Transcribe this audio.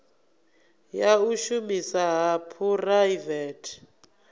ya u shumisana ha phuraivethe